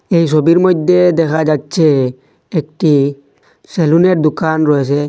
এই ছবির মইধ্যে দেখা যাচ্ছে একটি সেলুনের দোকান রয়েসে।